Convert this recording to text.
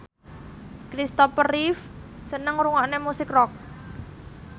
Christopher Reeve seneng ngrungokne musik rock